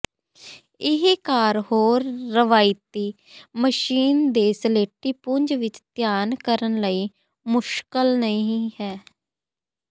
ਇਹ ਕਾਰ ਹੋਰ ਰਵਾਇਤੀ ਮਸ਼ੀਨ ਦੇ ਸਲੇਟੀ ਪੁੰਜ ਵਿੱਚ ਧਿਆਨ ਕਰਨ ਲਈ ਮੁਸ਼ਕਲ ਨਹੀ ਹੈ